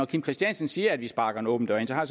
kim christiansen siger at vi sparker en åben dør ind har